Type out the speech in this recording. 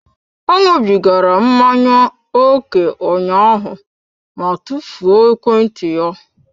Ọ ṅụbigara mmanya ókè ụnyaahụ ma tufuo ekwentị ya.